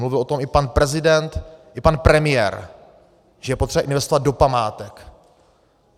Mluvil o tom i pan prezident i pan premiér, že je potřeba investovat do památek.